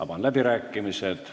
Avan läbirääkimised.